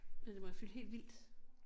Men det må jo fylde helt vildt